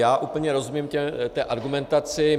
Já úplně rozumím té argumentaci.